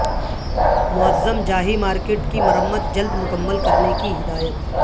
معظم Jahi market کی مرمت جلد مکمل کرنے کی ہدایت